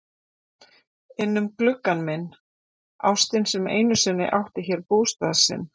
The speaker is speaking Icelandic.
Innum gluggann minn- ástin sem einu sinni átti hér bústað sinn.